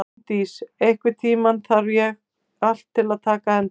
Gunndís, einhvern tímann þarf allt að taka enda.